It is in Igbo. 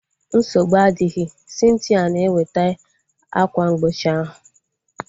Nsogbu adịghị, Cynthia na eweta akwa mgbochi ahu